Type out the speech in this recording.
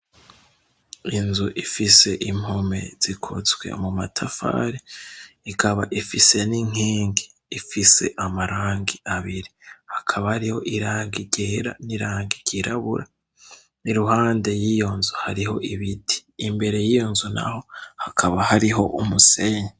Inzu ifise impome zikozwe mu matafari, ikaba ifise n'inkingi ifise amarangi abiri hakaba hariho irangi ryera n'irangi ry'irabura n'iruhande yiyo nzu hariho ibiti. Imbere yiyo nzu naho hakaba hariho umusenyi.